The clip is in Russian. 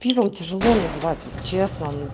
пивом тяжело называть вот честно